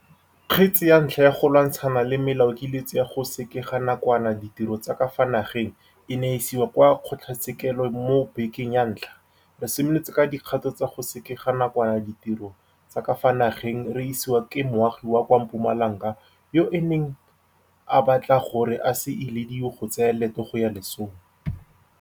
Kgetse ya ntlha ya go lwantshana le melaokiletso ya go sekega nakwana ditiro tsa ka fa nageng e ne ya isiwa kwa kgotlatshekelo mo bekeng ya ntlha re simolotse ka dikgato tsa go sekega nakwana ditiro tsa ka fa nageng re isiwa ke moagi wa kwa Mpumalanga yo a neng a batla gore a se ilediwe go tsaya leeto go ya lesong.